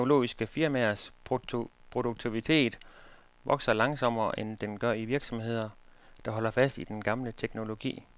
Højteknologiske firmaers produktivitet vokser langsommere, end den gør i virksomheder, der holder fast i den gamle teknologi.